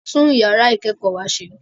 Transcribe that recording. A tún yàrá ìkẹ́kọ̀ọ́ wa ṣe